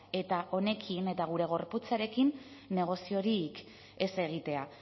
eta honekin eta gure gorputzarekin negoziorik ez egitea